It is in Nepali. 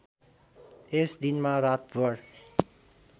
यस दिनमा रातभर